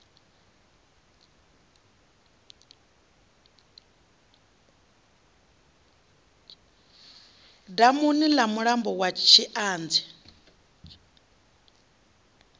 damuni ḽa mulambo wa tshianzhe